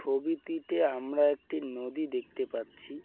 ছবিটিতে আমরা একটি নদী দেখতে পাচ্ছি।